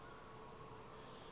kuloo fama yakhe